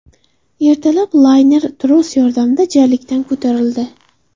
Ertalab layner tros yordamida jarlikdan ko‘tarildi.